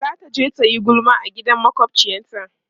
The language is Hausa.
zataje tayi gulma a gidan makwafciyar ta